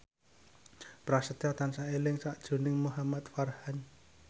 Prasetyo tansah eling sakjroning Muhamad Farhan